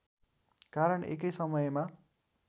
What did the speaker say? कारण एकै समयमा